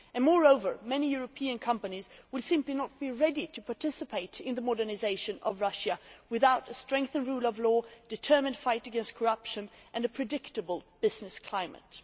Moreover, many European companies would simply not be ready to participate in the modernisation of Russia without a strengthened rule of law, a determined fight against corruption and a predictable business climate.